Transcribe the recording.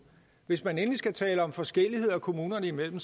hvis man endelig skal tale om forskelligheder kommunerne imellem